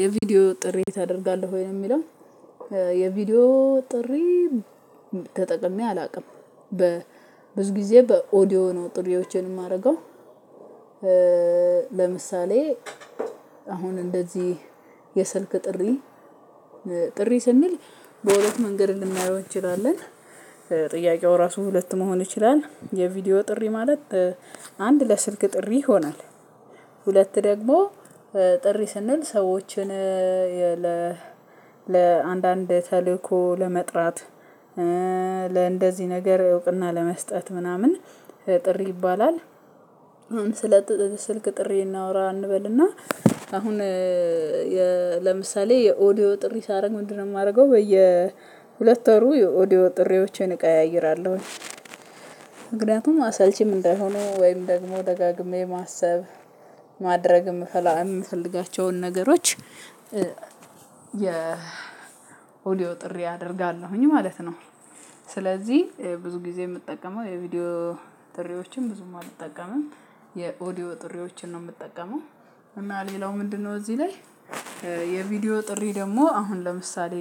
የቪዲዮ ጥሪ ታደርጋለህ ወይ? ለሚለው የቪዲዮ ጥሪ ተጠቅሜ አላውቅም። ብዙ ጊዜ በኦዲዮ ነው ጥሪዎቼን የማደርገው። ለምሳሌ አሁን እንደዚህ የስልክ ጥሪ ጥሪ ስንል በሁለት መንገድ ልናየው እንችላለን። ጥያቄው ራሱ ሁለት መሆን ይችላል የቪዲዮ ጥሪ ማለት አንድ ለስልክ ጥሪ ይሆናል። ሁለት ደግሞ ጥሪ ስንል ሰዎችን ለአንዳንድ ተልእኮ ለመጥራት ለእንደዚህ ነገር እውቅና ለመስጠት ምናምን ጥሪ ይባላል። አሁን ስለ ስልክ ጥሪ እናውራ እንበልና። አሁን ለምሳሌ የኦዲዮ ጥሪ ሳደርግ ምንድነው የማደርገው? በየ ሁለት ወሩ የኦዲዮ ጥሪዎችን እቀያይራለሁ። ምክንያቱም አሰልቺም እንዳይሆኑ ወይም ደግሞ ደጋግሜ ማሰብ ማድረግ የምፈልጋቸውን ነገሮች። የኦዲዮ ጥሪ አደርጋለሁኝ ማለት ነው። ስለዚህ ብዙ ጊዜ የምጠቀመው የቪዲዮ ጥሪዎችን ብዙም አልጠቀምም። የኦዲዮ ጥሪዎችን ነው የምጠቀመው። እና ሌላው ምንድነው እዚህ ላይ። የቪዲዮ ጥሪ ደግሞ አሁን ለምሳሌ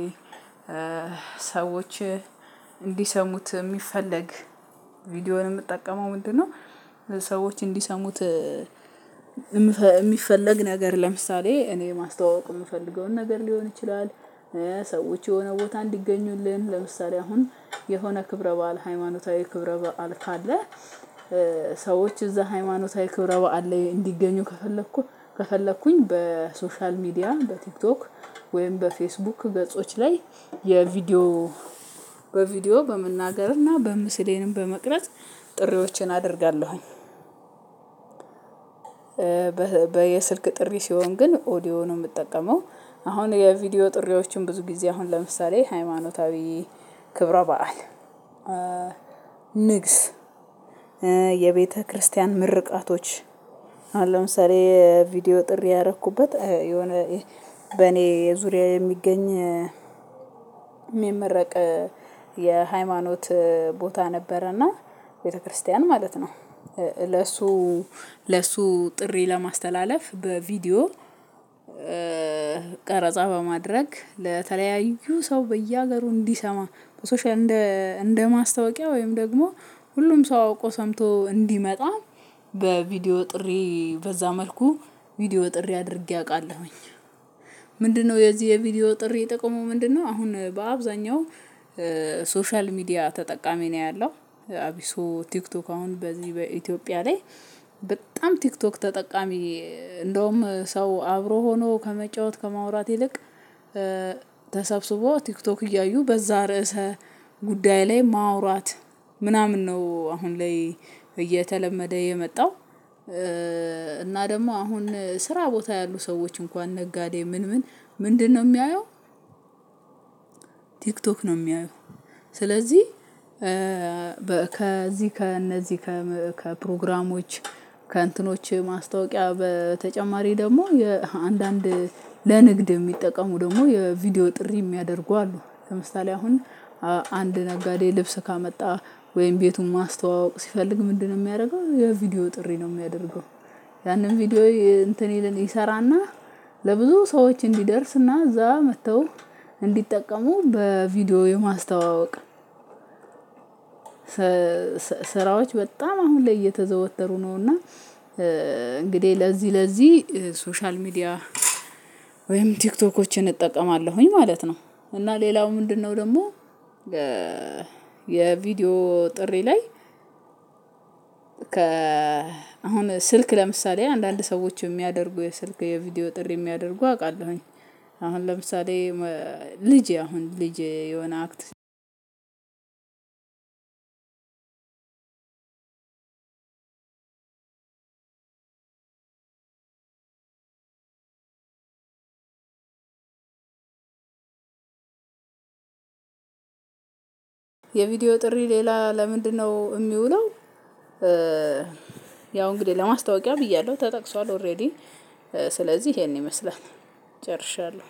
ሰዎች እንዲሰሙት የሚፈለግ ቪዲዮውን የምጠቀመው ምንድነው? ሰዎች እንዲሰሙት የሚፈለግ ነገር ለምሳሌ እኔ ማስተዋወቅ የምፈልገውን ነገር ሊሆን ይችላል። ሰዎች የሆነ ቦታ እንዲገኙልን ለምሳሌ አሁን የሆነ ክብረ በዓል ሃይማኖታዊ ክብረ በዓል ካለ። ሰዎች እዛ ሃይማኖታዊ ክብረ በዓል ላይ እንዲገኙ ከፈለኩ ከፈለኩኝ በሶሻል ሚዲያ በቲክቶክ ወይም በፌስቡክ ገጾች ላይ የቪዲዮ በቪዲዮ በመናገርና ምስሌንም በመቅረጽ ጥሪዎችን አደርጋለሁኝ። በየስልክ ጥሪ ሲሆን ግን ኦዲዮ ነው የምጠቀመው። አሁን የቪዲዮ ጥሪዎችን ብዙ ጊዜ አሁን ለምሳሌ ሃይማኖታዊ ክብረ በዓል። ንግስ የቤተክርስቲያን ምርቃቶች አሁን ለምሳሌ ቪዲዮ ጥሪ ያደረኩበት የሆነ በኔ የዙሪያዬ የሚገኝ የሚመረቅ የሃይማኖት ቦታ ነበረና። ቤተክርስቲያን ማለት ነው። ለሱ ለሱ ጥሪ ለማስተላለፍ በቪዲዮ ቀረጻ በማድረግ ለተለያዩ ሰው በየሀገሩ እንዲሰማ። በሶሻል እንደ እንደ ማስታወቂያ ወይም ደግሞ ሁሉም ሰው አውቆ ሰምቶ እንዲመጣ። በቪዲዮ ጥሪ በዛ መልኩ ቪዲዮ ጥሪ አድርጌ አውቃለሁኝ። ምንድነው የዚህ የቪዲዮ ጥሪ ጥቅሙ ምንድነው? አሁን በአብዛኛው ሶሻል ሚዲያ ተጠቃሚ ነው ያለው። አብሶ ቲክቶክ አሁን በዚህ በኢትዮጵያ ላይ በጣም ቲክቶክ ተጠቃሚ እንደውም ሰው አብሮ ሆኖ ከመጫወት ከማውራት ይልቅ። ተሰብስቦ ቲክቶክ እያዩ በዛ ርዕሰ ጉዳይ ላይ ማውራት ምናምን ነው አሁን ላይ እየተለመደ የመጣው። እና ደግሞ አሁን ስራ ቦታ ያሉ ሰዎች እንኳን ነጋዴ ምን ምን ምንድነው የሚያየው? ቲክቶክ ነው የሚያየው። ስለዚህ ከዚህ ከእነዚህ ከፕሮግራሞች ከእንትኖች ማስታወቂያ በተጨማሪ ደግሞ አንዳንድ ለንግድ የሚጠቀሙ ደግሞ የቪዲዮ ጥሪ የሚያደርጉ አሉ። ለምሳሌ አሁን አንድ ነጋዴ ልብስ ካመጣ ወይም ቤቱን ማስተዋወቅ ሲፈልግ ምንድነው የሚያደርገው? የቪዲዮ ጥሪ ነው የሚያደርገው። ያንን ቪዲዮ እንትን ይል ይሰራና። ለብዙ ሰዎች እንዲደርስና እዛ መጥተው እንዲጠቀሙ በቪዲዮ የማስተዋወቅ። ስራዎች በጣም አሁን ላይ እየተዘወተሩ ነው እና። እንግዲህ ለዚህ ለዚህ ሶሻል ሚዲያ ወይም ቲክቶኮችን እጠቀማለሁኝ ማለት ነው። እና ሌላው ምንድነው? ደግሞ የ የቪዲዮ ጥሪ ላይ ከ አሁን ስልክ ለምሳሌ አንዳንድ ሰዎች የሚያደርጉ የስልክ የቪዲዮ ጥሪ የሚያደርጉ አውቃለሁኝ። አሁን ለምሳሌ ልጄ አሁን ልጄ የሆነ አክት ድ የቪዲዮ ጥሪ ሌላ ለምንድነው የሚውለው? ያው እንግዲህ ለማስታወቂያ ብያለሁ ተጠቅሷል ኦሬዲ ስለዚህ ይሄን ይመስላል። ጨርሻለሁ።